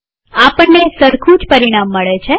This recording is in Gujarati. આપણને સરખું જ પરિણામ મળે છે